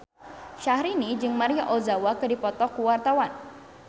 Syahrini jeung Maria Ozawa keur dipoto ku wartawan